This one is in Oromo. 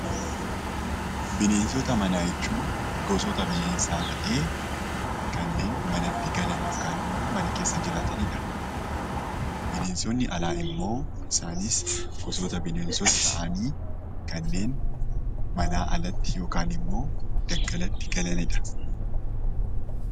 Bineensota manaa jechuun gosoota bineensaa ta'ee kanneen manatti galan yookaan immoo mana keessa jiraatanidha. Bineensonni alaa immoo gosoota bineensaa ta'anii kanneen alatti yookaan daggalatti galanidha.